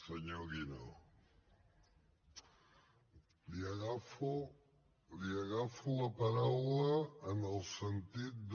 senyor guinó li agafo la paraula en el sentit de